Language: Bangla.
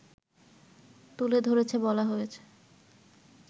তুলে ধরে বলা হয়েছে